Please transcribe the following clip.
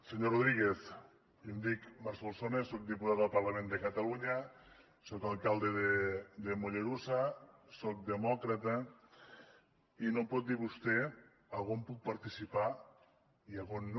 senyor rodríguez jo em dic marc solsona soc diputat al parlament de catalunya soc alcalde de mollerussa soc demòcrata i no em pot dir vostè a on puc participar i a on no